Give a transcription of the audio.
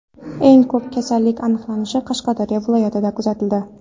Eng ko‘p kasallik aniqlanishi Qashqadaryo viloyatida kuzatildi.